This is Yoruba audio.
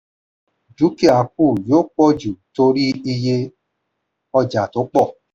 dúkìá kù yóò pọ̀ jù torí iye ọjà tó pọ̀.